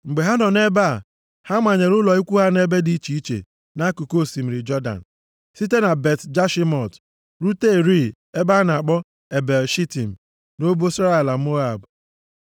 Mgbe ha nọ nʼebe a, ha manyere ụlọ ikwu ha nʼebe dị iche iche nʼakụkụ osimiri Jọdan, site na Bet-Jeshimọt rute rịị ebe a na-akpọ Ebel-Shitim, nʼobosara ala Moab.